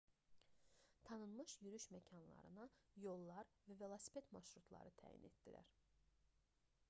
tanınmış yürüyüş məkanlarına yollar və velosiped marşrutları təyin etdilər